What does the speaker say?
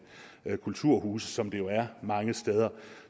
kulturhuse som det jo er mange steder